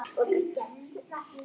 Keyrðum yfir þá í seinni hálfleiknum